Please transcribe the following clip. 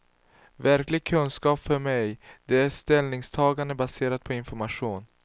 Verklig kunskap för mig, det är ställningstagande baserat på information.